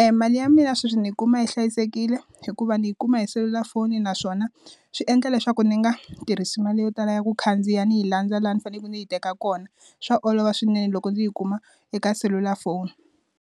e mali ya mina sweswi ndi yi kuma hi hlayisekile hikuva ndzi yi kuma hi selulafoni naswona swi endla leswaku ndzi nga tirhisi mali yo tala ya ku khandziya ndzi yi landza laha ndzi fanele ndzi yi teka kona swa olova swinene loko ndzi yi kuma eka selulafoni.